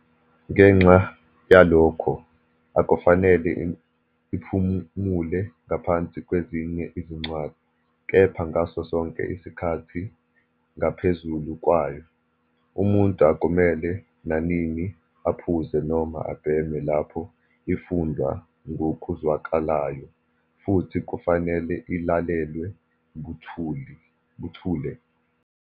Ngenxa yalokho, akufanele iphumule ngaphansi kwezinye izincwadi, kepha ngaso sonke isikhathi ngaphezulu kwayo, umuntu akumele nanini aphuze noma abheme lapho ifundwa ngokuzwakalayo, futhi kufanele ilalelwe buthule.